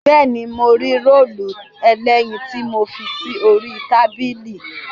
Bẹ́ẹ̀ni, mo rí róòlù ẹlẹ́yin tí mo fi sórí tábìlì